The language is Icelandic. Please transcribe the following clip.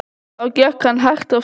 Þá gekk hann hægt af stað.